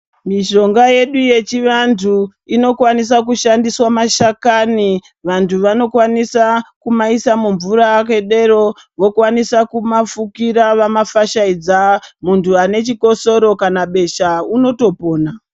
Mishonga yedu yechivantu inokwanisa kushandiswa mashakani. Vantu vanokwanisa kumaisa mumvura akadero vokwanisa kumafukira vamafashaidza. Muntu ane chikosoro kana besha unotopona.